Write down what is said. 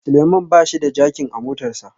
Suleman bashi da jakin a motarsa